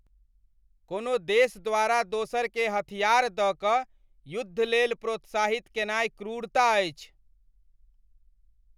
कोनो देश द्वारा दोसरकेँ हथियार दऽ कऽ युद्धलेल प्रोत्साहित केनाइ क्रूरता अछि।